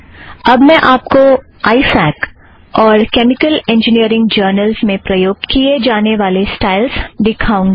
अब मैं आप को आइ फ़ॅक और केमिकल इंजिनियरींग जर्नलस में प्रयोग किया जाने वाला स्टाइल दिखाऊँगी